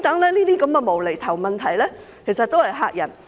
這些"無厘頭"問題只是用來嚇人，嚇得自己......